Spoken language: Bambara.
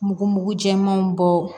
Mugu mugu jɛmanw bɔ